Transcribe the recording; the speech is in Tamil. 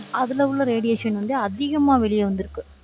அதுல உள்ள radiation வந்து அதிகமா வெளிய வந்துருக்கு.